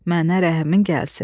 Mənə rəhmin gəlsin.